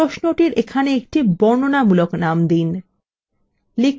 প্রশ্নটির এখানে একটি বর্ণনামূলক name দিন